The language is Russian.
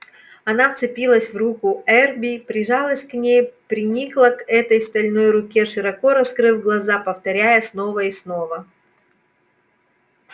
она вцепилась в руку эрби прижалась к ней приникла к этой стальной руке широко раскрыв глаза повторяя снова и снова